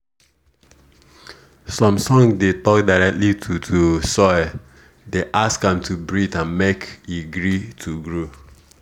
some song dey talk directly to to soil dey ask am to breathe and make e gree to grow